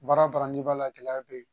Baara baara n'i b'a la gɛlɛya bɛ yen